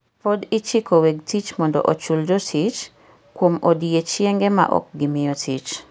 Pod ichiko weg tich mondo ochul jotich kuom odiechienge ma ok gimiyo tich.